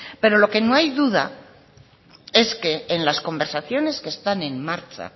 pero lo que no hay duda es que en las conversaciones que están en marcha